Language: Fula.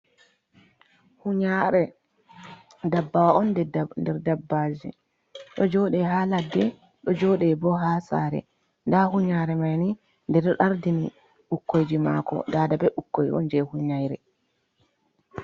Hunyare dabbawa on der dabbaji do jode ha ladde ɗo joɗe bo ha sare da hunyare maini de do dardini ukkoiji mako dada be ukkoion je hunyare.